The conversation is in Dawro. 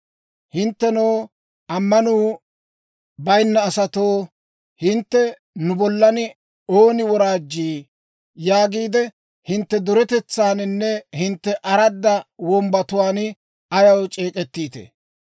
Hinttenoo, ammanuu bayinna asatoo, hintte, ‹Nu bollan ooni woraajjii?› yaagiide hintte duretetsaaninne hintte aradda wombbatuwaan ayaw c'eek'ettiitee?